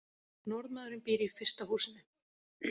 Norðmaðurinn býr í fyrsta húsinu.